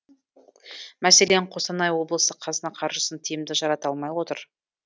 мәселен қостанай облысы қазына қаржысын тиімді жарата алмай отыр